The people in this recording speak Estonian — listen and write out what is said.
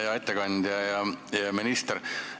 Hea ettekandja!